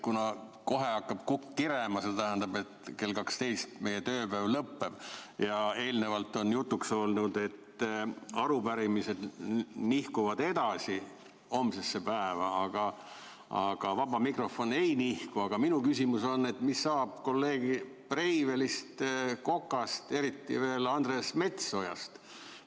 Kuna kohe hakkab kukk kirema, see tähendab, et kell 12 meie tööpäev lõpeb, ja eelnevalt on jutuks olnud, et arupärimised nihkuvad edasi homsesse päeva, aga vaba mikrofon ei nihku, siis minu küsimus on, et mis saab kolleegidest Breivelist, Kokast, eriti veel Andres Metsojast.